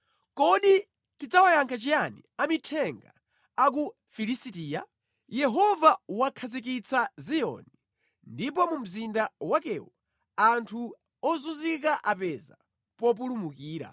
Kodi tidzawayankha chiyani amithenga a ku Filisitiya? “Yehova wakhazikitsa Ziyoni, ndipo mu mzinda wakewu, anthu ozunzika apeza populumukira.”